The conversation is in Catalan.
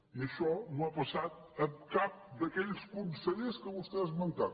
i això no ha passat amb cap d’aquells consellers que vostè ha esmentat